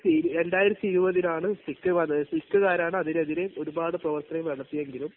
രണ്ടായിരത്തി, 2020 -ൽ ആണ് സിക്കുകാർ, സിക്കുകാരാണ് അതിനെതിരെ ഒരുപാട് പ്രവർത്തനങ്ങൾ നടത്തിയതെങ്കിലും